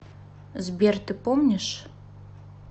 сбер ты помнишь